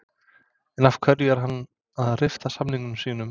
En af hverju er hann að rifta samningi sínum?